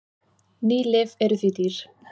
Ný lyf eru því dýr.